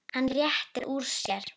Hann réttir úr sér.